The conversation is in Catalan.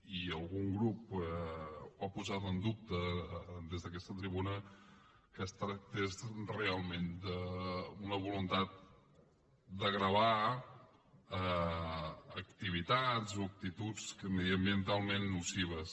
i algun grup ho ha posat en dubte des d’aquesta tribuna que es tractés realment d’una voluntat de gravar activitats o actituds mediambientalment nocives